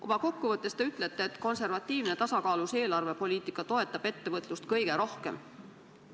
Oma kokkuvõttes te ütlesite, et konservatiivne tasakaalus eelarvepoliitika toetab ettevõtlust kõige rohkem.